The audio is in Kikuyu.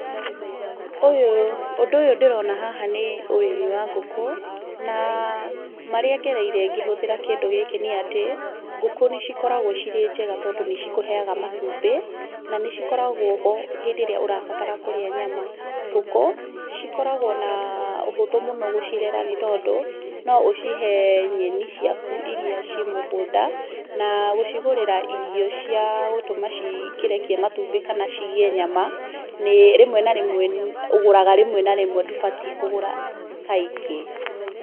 Ũndũ ũyũ ndĩrona haha nĩ ũrĩmi wa ngũkũ, na marĩa ngereire ngĩhũthĩra kĩndũ gĩkĩ nĩ atĩ, ngũkũ nĩ cikoragwo cirĩ njega tondũ nĩ cikũheaga matumbĩ, na nĩ cikoragwo ho hĩndĩ ĩrĩa ũrabatara kũrĩa nyama. Ngũkũ, cikoragwo na ũhũthũ mũno gũcirera nĩ tondũ, no ũcihe nyeni ciaku iria ciĩ mũgũnda, na gũcigũrĩra irio cia gũtũma cikĩrekie matũmbĩ kana cigĩe nyama, ũgũraga rĩmwe na rĩmwe ndũbatiĩ kũgũra kaingĩ.